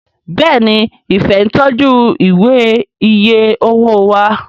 Béèni Ifẹ ń tọjú Ìwé iye owó wá